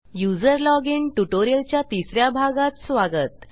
user login tutorial च्या तिस या भागात स्वागत